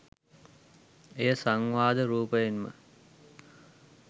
එය සංවාද රූපයෙන්ම